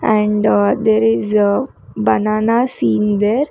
And there is banana seen there.